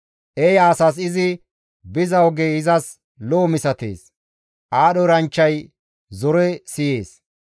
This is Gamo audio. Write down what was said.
Eeya asas izi biza ogey izas lo7o misatees; aadho eranchchay zore siyees.